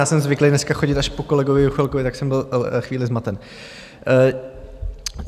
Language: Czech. Já jsem zvyklý dneska chodit až po kolegovi Juchelkovi, tak jsem byl chvíli zmaten.